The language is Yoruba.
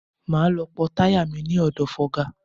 Máa lọ pọ́ táyà mi ní ọ̀dọ̀ fọga.